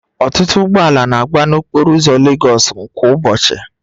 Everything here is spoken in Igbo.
Ọtụtụ ụgbọ ala na-agba n'okporo ụzọ Legosu kwa ụbọchị